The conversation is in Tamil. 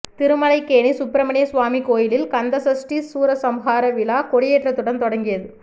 திருமலைக்கேணி சுப்பிரமணிய சுவாமி கோயிலில் கந்தசஷ்டி சூரசம்ஹார விழா கொடியேற்றத்துடன் தொடங்கியது